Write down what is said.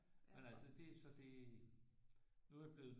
Men altså det er så det nu er jeg blevet